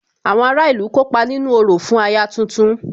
Àwọn ará ìlú kópa nínú orò fún aya tuntun